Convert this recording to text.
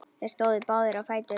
Þeir stóðu báðir á fætur.